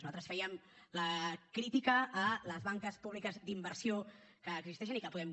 nosaltres fèiem la crítica a les banques públiques d’inversió que existeixen i que podem